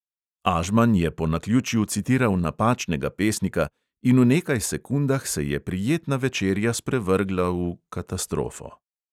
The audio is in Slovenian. Ažman je po naključju citiral napačnega pesnika, in v nekaj sekundah se je prijetna večerja sprevrgla v … katastrofo.